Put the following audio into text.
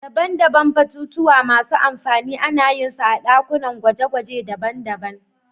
Daban-daban batutuwa masu amfani ana yin su a dakunan gwaje-gwaje daban-daban.